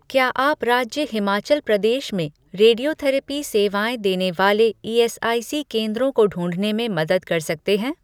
क्या आप राज्य हिमाचल प्रदेश में रेडियोथेरेपी सेवाएँ देने वाले ईएसआईसी केंद्रों को ढूँढने में मदद कर सकते हैं